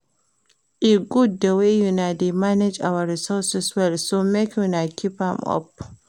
E good the way una dey manage our resources well so make una keep am up